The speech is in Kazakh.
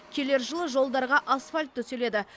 келер жылы жолдарға асфальт төселеді